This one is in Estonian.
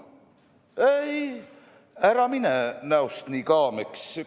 Ei, ära mine näost nii kaameks!